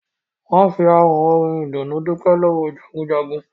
Wọn fi àwọn orin ìdùnnú dupe lọ́wọ́ Jagunjagun